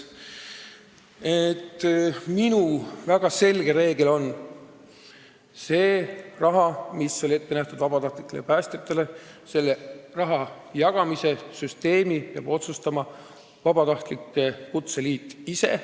Minu väga selge reegel on: vabatahtlikele päästjatele ette nähtud raha jagamise süsteemi peab otsustama vabatahtlike kutseliit ise.